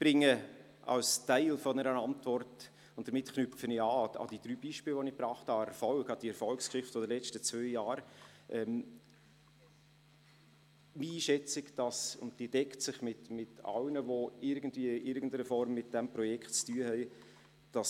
Ich bringe als Teil einer Antwort – damit knüpfe ich an die drei Beispiele, welche ich gebracht habe, an – die Erfolgsgeschichte der letzten zwei Jahre und gebe meine Einschätzung ab, welche sich mit derjenigen all derer deckt, welche in irgendeiner Form mit diesem Projekt zu tun haben.